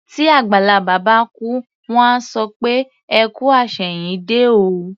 Tí àgbàlagbà bá kú, wọ́n á sọ pé "ẹ kú àṣẹ̀yìndé o".